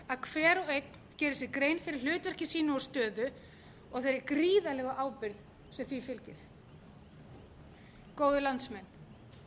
að hver og einn geri sér grein fyrir hlutverki sínu og stöðu og þeirri gríðarlegu ábyrgð sem því fylgir góðir landsmenn